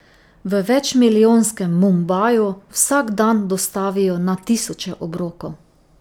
V večmilijonskem Mumbaju vsak dan dostavijo na tisoče obrokov.